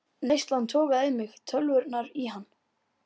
Neyslan togaði í mig, tölvurnar í hann.